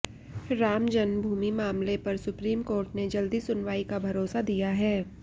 राम जन्मभूमि मामले पर supreme court ने जल्दी सुनवाई का भरोसा दिया है